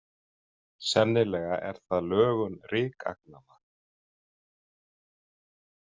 Sennilega er það lögun rykagnanna.